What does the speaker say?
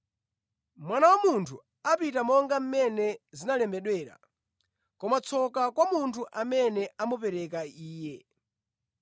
Mwana wa Munthu apita monga mmene zinalembedwera, koma tsoka kwa munthu amene amupereka Iye.”